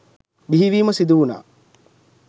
බිහිවීම සිදු වුණා.